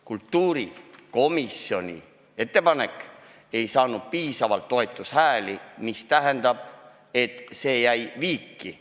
Kultuurikomisjoni ettepanek ei saanud piisavalt toetushääli, hääletus jäi viiki.